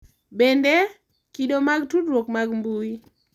Bende, kido mag tudruok mag mbui—